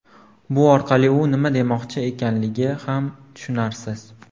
Bu orqali u nima demoqchi ekanligi ham tushunarsiz.